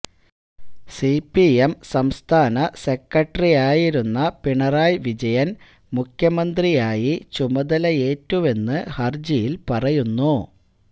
CPM സംസ്ഥാന സെക്രട്ടറിയായിരുന്ന പിണറായി വിജയന് മുഖ്യമന്ത്രിയായി ചുമതലയേറ്റുവെന്നു ഹര്ജിയില് പറയുന്നു